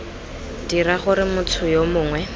dira gore motho yo mongwe